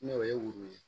N'o ye woro ye